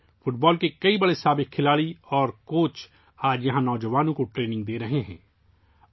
آج، football کے کئی نامور سابق کھلاڑی اور کوچ یہاں کے نوجوانوں کو تربیت دے رہے ہیں